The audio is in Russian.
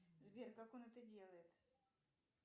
сбер как он это делает